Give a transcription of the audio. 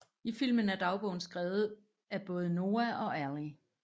I filmen er dagbogen skrevet af både Noah og Allie